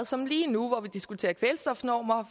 som lige nu hvor vi diskuterer kvælstofnormer